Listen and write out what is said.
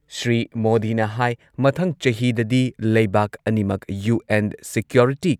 ꯁ꯭ꯔꯤ ꯃꯣꯗꯤꯅ ꯍꯥꯏ ꯃꯊꯪ ꯆꯍꯤꯗꯗꯤ ꯂꯩꯕꯥꯛ ꯑꯅꯤꯃꯛ ꯌꯨ.ꯑꯦꯟ ꯁꯤꯀ꯭ꯌꯣꯔꯤꯇꯤ